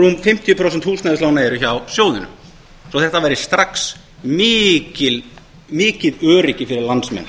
rúm fimmtíu prósent húsnæðislána eru hjá sjóðnum svo að þetta væri strax mikið öryggi fyrir landsmenn